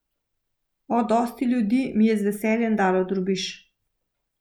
O, dosti ljudi mi je z veseljem dalo drobiž.